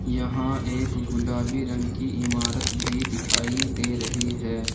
यहां एक गुलाबी रंग की इमारत भी दिखाई दे रही है।